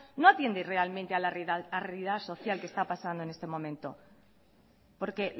no atiende realmente a la realidad social que está pasando en este momento porque